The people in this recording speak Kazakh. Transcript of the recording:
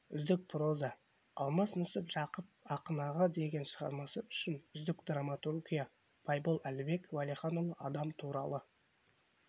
үздік проза алмас нүсіп жақыпақын аға деген шығармасы үшін үздік драматургия байбол әлібек уәлиханұлы адам туралы